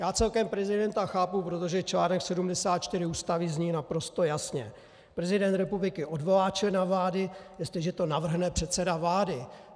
Já celkem prezidenta chápu, protože článek 74 Ústavy zní naprosto jasně: Prezident republiky odvolá člena vlády, jestliže to navrhne předseda vlády.